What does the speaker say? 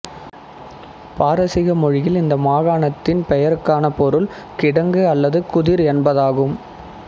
பாரசீக மொழியில் இந்த மாகாணத்தின் பெயருக்கான பொருள் கிடங்கு அல்லது குதிர் என்பதாகும்